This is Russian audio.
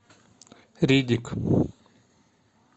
риддик